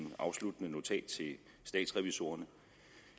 afsluttende notat til statsrevisorerne